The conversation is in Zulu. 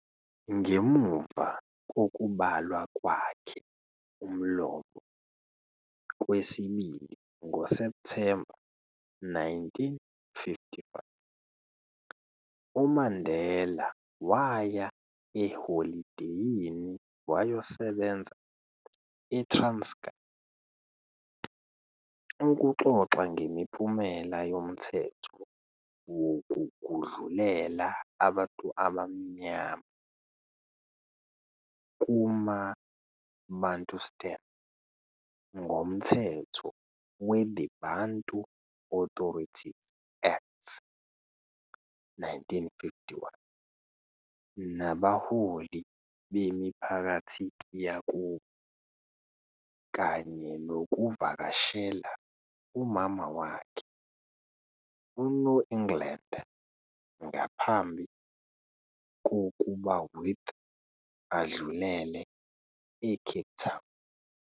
Ngemuva kokubalwa kwakhe umlomo kwesibili ngoSeptemba 1955, uMandela waya eholideyini wayosebenza eTranskei ukuxoxa ngemiphumela yomthetho wokugudlulela abantu abamnyama kumabantustan ngomthetho we-the Bantu Authorities Act, 1951 nabaholi bemiphakathi yakubo, kanye nokuvakashela umama wakhe uNoengland ngaphambi kokubawith adlulele e-Cape Town.